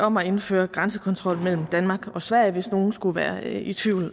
om at indføre grænsekontrol mellem danmark og sverige hvis nogen skulle være i tvivl